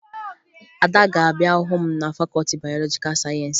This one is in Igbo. Ada ga-abịa hụ m na fakọọti bayọlọjikaa sayensị